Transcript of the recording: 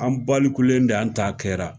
An balikulen de an ta kɛra